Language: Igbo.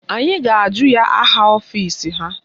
Anyị ga-ajụ ya aha ọfisi ha